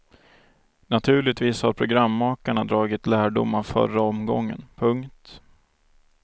Naturligtvis har programmakarna dragit lärdom av förra omgången. punkt